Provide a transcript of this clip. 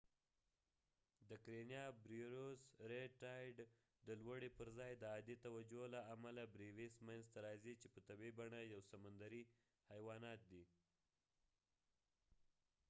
رید ټایدred tide د کرینیا بریوس karenia brevis د لوړی پر ځای د عادي توجه له امله منځ ته راځي چې په طبیعی بڼه یو سمندرې حیوانات دي